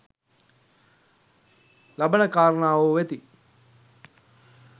ලබන කාරණාවෝ වෙති.